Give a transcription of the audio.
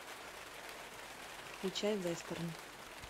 включай вестерн